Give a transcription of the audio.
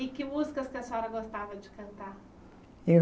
E que músicas que a senhora gostava de cantar? Eu